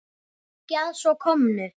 Ekki að svo komnu.